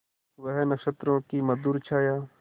वह नक्षत्रों की मधुर छाया